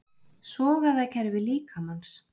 Sogæðakerfi líkamans.